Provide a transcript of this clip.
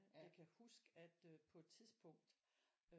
Jeg kan huske at øh på et tidspunkt